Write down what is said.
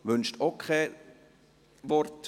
– Das ist nicht der Fall.